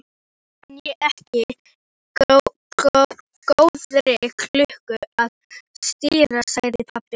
Það kann ekki góðri lukku að stýra, sagði pabbi.